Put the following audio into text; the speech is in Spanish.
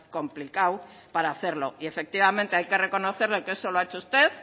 complicado para hacerlo y efectivamente hay que reconocerlo que eso lo ha hecho usted